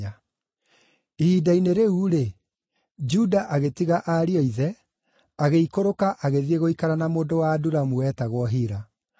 Ihinda-inĩ rĩu-rĩ, Juda agĩtiga ariũ a ithe agĩikũrũka agĩthiĩ gũikara na mũndũ wa Adulamu wetagwo Hira.